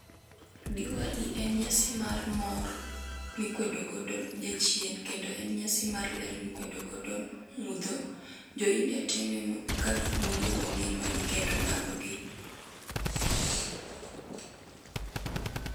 Diwali en nyasi mar mor mikwedo godo jachien kendo en nyasi mar ler mikwedo godo mudho. Jo India time ka gimulo go ngimagi kod lambgi